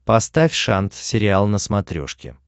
поставь шант сериал на смотрешке